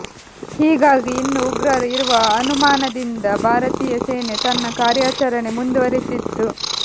ಹೀಗಾಗಿ ಇನ್ನು ಉಗ್ರರು ಇರುವ ಅನುಮಾನದಿಂದ ಭಾರತೀಯ ಸೇನೆ ತನ್ನ ಕಾರ್ಯಾಚರಣೆ ಮುಂದುವರಿಸಿತ್ತು